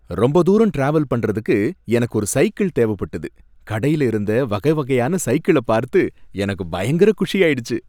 ரொம்ப தூரம் டிராவல் பண்றதுக்கு எனக்கு ஒரு சைக்கிள் தேவைப்பட்டது, கடையில இருந்த வகை வகையான சைக்கிள பார்த்து எனக்கு பயங்கர குஷியாயிடுச்சு